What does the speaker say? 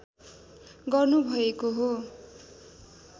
गर्नुभएको हो